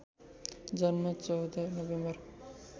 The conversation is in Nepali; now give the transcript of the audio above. जन्म १४ नोभेम्बर